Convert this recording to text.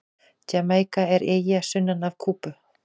Jamaíka er eyja sunnan af Kúbu.